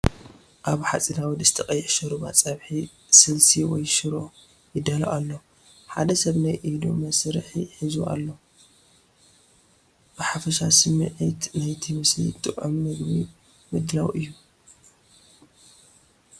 ኣብ ሓጺናዊ ድስቲ ቀይሕ ሾርባ ፣ ፀብሒ ስልሲ ወይ ሽሮ ይዳሎ ኣሎ። ሓደ ሰብ ናይ ኢድ መሳርሒ ሒዙ ኣሎ። ብሓፈሻ ስሚዒት ናይቲ ምስሊ ጥዑም ምግቢ ምድላው እዩ።